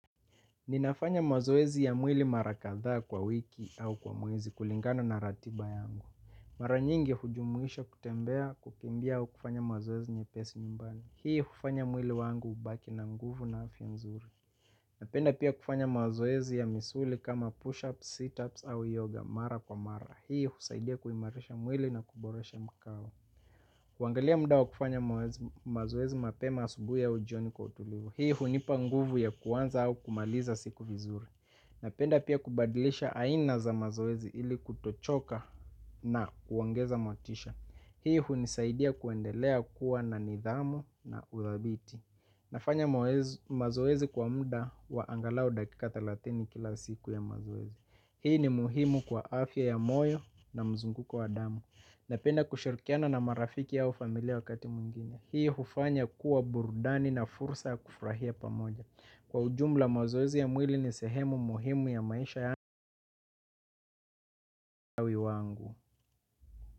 Ninafanya mazoezi ya mwili mara kadhaa kwa wiki au kwa mwezi kulingana na ratiba yangu. Mara nyingi hujumuisha kutembea kukimbia au kufanya mazoezi nyepesi nyumbani. Hii hufanya mwili wangu kubaki na nguvu na afya nzuri. Napenda pia kufanya mazoezi ya misuli kama push-ups, sit-ups au yoga mara kwa mara. Hii husaidia kuimarisha mwili na kuboresha mkao. Kuangalia mda wa kufanya mazoezi mapema asubuhi ya ujioni kwa utulivu hii hunipa nguvu ya kuanza au kumaliza siku vizuri. Napenda pia kubadilisha aina za mazoezi ili kutochoka na uongeza motisha. Hii hunisaidia kuendelea kuwa na nidhamu na uthabiti. Nafanya mazoezi kwa mda wa angalau dakika thelathini kila siku ya mazoezi. Hii ni muhimu kwa afya ya moyo na mzunguko wa damu. Napenda kushirikiana na marafiki au familia wakati mwingine, hiyo hufanya kuwa burudani na fursa ya kufurahia pamoja, kwa ujumla mazoezi ya mwili ni sehemu muhimu ya maisha yangu.